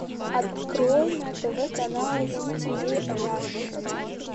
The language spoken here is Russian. открой на тв канал зи ти ви раша